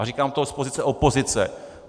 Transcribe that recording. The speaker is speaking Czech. A říkám to z pozice opozice.